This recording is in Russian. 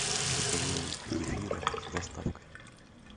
закажи мне кефира с доставкой